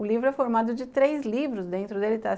O livro é formado de três livros dentro dele, tá?